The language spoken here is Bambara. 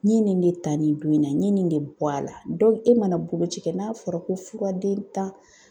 N ye nin de ta nin don in na, n ye nin de bɔ a la e mana boloci kɛ, n'a fɔra ko fura den tan